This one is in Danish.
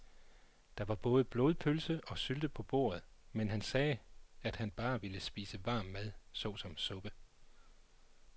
Der var både blodpølse og sylte på bordet, men han sagde, at han bare ville spise varm mad såsom suppe.